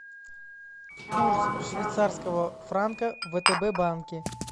курс швейцарского франка в втб банке